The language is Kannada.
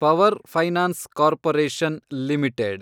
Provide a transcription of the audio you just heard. power finance corporation limited